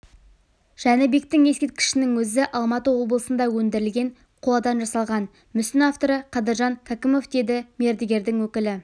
жәнібектің ескерткішінің өзі алматы облысында өндірілген қоладан жасалған мүсін авторы қадыржан кәкімов деді мердігердің өкілі